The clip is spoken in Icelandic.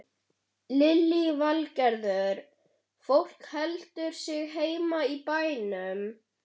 Lillý Valgerður: Fólk heldur sig heima í bænum?